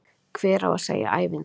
Hver á að segja ævintýrið?